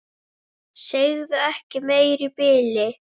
Sagði ekki meira í bili.